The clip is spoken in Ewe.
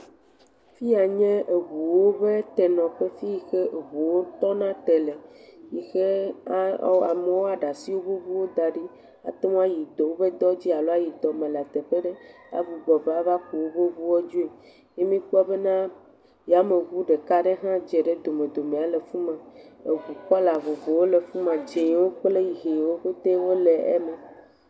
Fi ya nye ŋuwo ƒe tenɔƒe fi yi ke eŋuwo tɔna te le, yi xe ɔa amewo woaɖe asi woƒe ŋuwo da ɖi ate ŋu ayi dɔ woƒe dɔ dzi alo ayi dɔme le teƒe ɖe agbugbɔ va avaku woƒe ŋuwo dzoe, ye mikpɔ bena yemeŋu ɖeka aɖe hã dze ɖe domdomea le fu ma, eŋu kɔla vovovowo le fu ma, dz0wo kple ʋiwo bete wole eme.